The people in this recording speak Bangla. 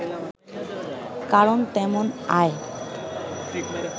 কারণ তেমন আয়